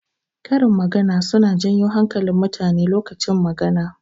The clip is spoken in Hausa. Karin magana suna janyo hankalin mutane lokacin magana.